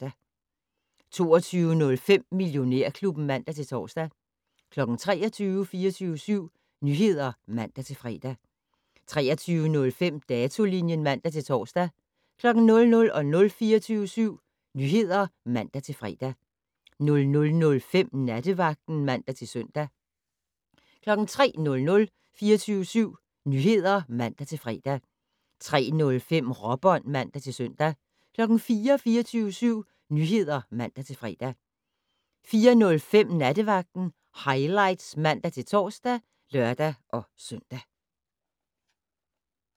22:05: Millionærklubben (man-tor) 23:00: 24syv Nyheder (man-fre) 23:05: Datolinjen (man-tor) 00:00: 24syv Nyheder (man-fre) 00:05: Nattevagten (man-søn) 03:00: 24syv Nyheder (man-fre) 03:05: Råbånd (man-søn) 04:00: 24syv Nyheder (man-fre) 04:05: Nattevagten Highlights (man-tor og lør-søn)